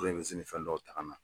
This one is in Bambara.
fɛn dɔw ta ka na